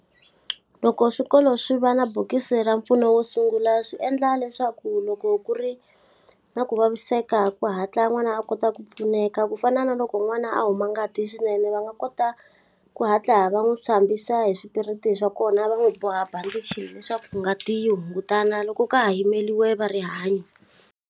Loko swikolo swi va na bokisi ra mpfuno wo sungula swi endla leswaku loko ku ri na ku vaviseka ku hatla n'wana a kota ku pfuneka. Ku fana na loko n'wana a a huma ngati swinene va nga kota, ku hatla va n'wi hlambisa hi swipiriti swa kona va n'wi boha bandichi leswaku ngati yi hungutana loko ka ha yimeriwe va rihanyo.